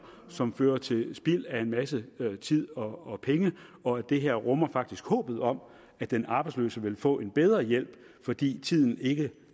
som fører til spild af en masse tid og penge og det her rummer faktisk håbet om at den arbejdsløse vil få en bedre hjælp fordi tiden ikke